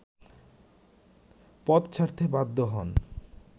পদ ছাড়তে বাধ্য হন